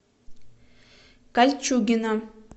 кольчугино